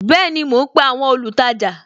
Bẹẹni, mo ń pe àwọn olùtajà